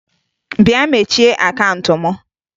Bịa mechie akaụnt m!